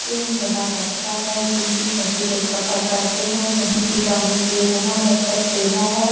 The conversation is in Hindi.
ट्रेन बहुत अच्छा है क्योंकि सभी लोग सफर करते हैं कहीं प जाने के लिए बहुत अच्छा सुविधा है।